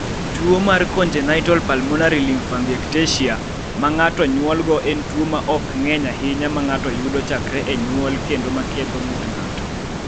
Tuo mar Congenital pulmonary lymphangiectasia ma ng�ato nyuolgo en tuo ma ok ng�eny ahinya ma ng�ato yudo chakre e nyuol kendo ma ketho ng�ut ng�ato.